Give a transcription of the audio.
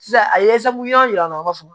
Sisan a ye yɔrɔ yira u b'a fɔ